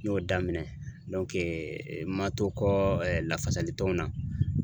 N y'o daminɛ n ma to kɔ ɛ lafasali tɔnw na.